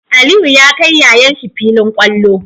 Aliyu ya kai yayan shi filin kwallo